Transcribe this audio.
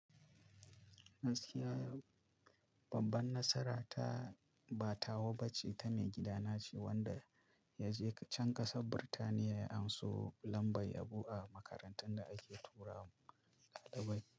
Gaskiya babban nasara ta ba tawa ba ce, ta mai gidana ce wanda ya je can ƙasar Birtaniya ya anso lambar yabo a makarantar da ake tura mu ɗalibai.